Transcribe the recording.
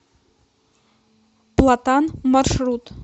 платан маршрут